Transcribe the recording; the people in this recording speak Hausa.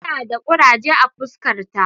Tana da kuraje a fuskarta.